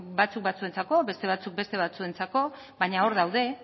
batzuk batzuentzako beste batzuk beste batzuentzako baina hor daude